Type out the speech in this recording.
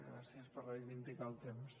gràcies per reivindicar el temps